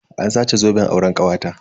An sace zoben auren kawata.